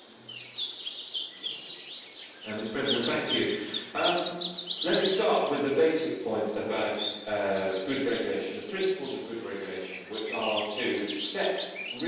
Mr President, let me start with the basic point about good regulation the principles of good regulation which are to set realistic deadlines and to hit them.